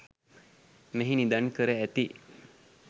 මෙහි නිදන් කර ඇති